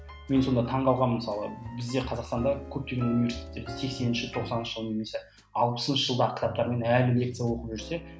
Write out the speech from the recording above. мен сонда таң қалғанмын мысалы бізде қазақстанда көптеген университеттерде сексенінші тоқсанынышы жыл немесе алпысыншы жылдағы кітаптармен әлі лекция оқып жүрсе